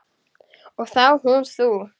Og þá hún þú.